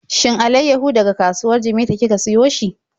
Shin alaiyahun daga kasuwar Jimeta kika siyo shi?